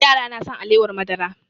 Yara na son alewar madara